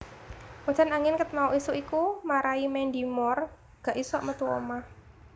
Udan angin ket mau isuk iku marai Mandy Moore gak isok metu omah